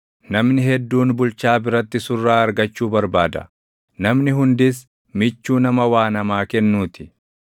Namni hedduun bulchaa biratti surraa argachuu barbaada; namni hundis michuu nama waa namaa kennuu ti.